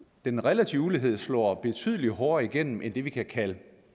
den relative ulighed slår betydelig hårdere igennem end det vi kan kalde